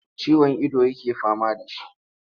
Ciwon ido yake fama da shi.